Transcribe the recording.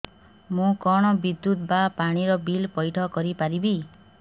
ମୁ କଣ ବିଦ୍ୟୁତ ବା ପାଣି ର ବିଲ ପଇଠ କରି ପାରିବି